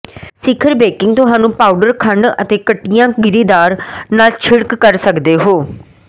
ਸਿਖਰ ਬੇਕਿੰਗ ਤੁਹਾਨੂੰ ਪਾਊਡਰ ਖੰਡ ਅਤੇ ਕੱਟਿਆ ਗਿਰੀਦਾਰ ਨਾਲ ਛਿੜਕ ਕਰ ਸਕਦੇ ਹੋ